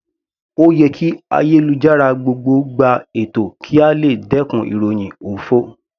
Ó yẹ kí ayélujára gbogbo gba ètò kí a lè dẹkùn ìròhìn òfo.